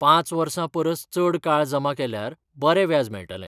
पांच वर्सां परस चड काळ जमा केल्यार बरें व्याज मेळटलें.